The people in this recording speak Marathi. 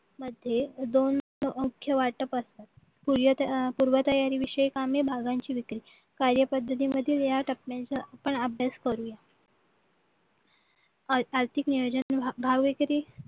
मध्ये दोन मुख्य वाटप असतात पूर्वतयारी विषयक भागांची विक्री कार्यपद्धतीमधील या टप्प्यांचा आपण अभ्यास करू आर्थिक नियोजन